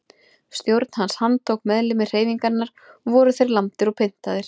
Stjórn hans handtók meðlimi hreyfingarinnar og voru þeir lamdir og pyntaðir.